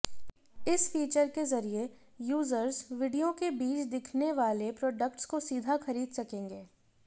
इस फीचर के जरिए यूजर्स विडियो के बीच दिखने वाले प्रोडक्ट्स को सीधा खरीद सकेंगे